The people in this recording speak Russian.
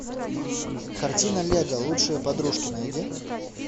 картина лего лучшие подружки найди